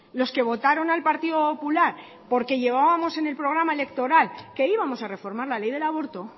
los que votaron al partido popular porque llevábamos en el programa electoral que íbamos a reformar la ley del aborto